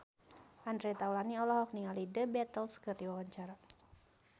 Andre Taulany olohok ningali The Beatles keur diwawancara